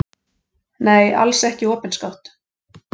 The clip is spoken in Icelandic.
Nei, alls ekki opinskátt.